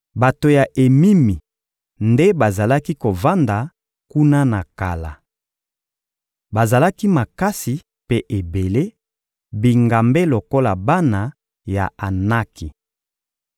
Bato ya Emimi nde bazalaki kovanda kuna na kala. Bazalaki makasi mpe ebele, bingambe lokola bana ya Anaki.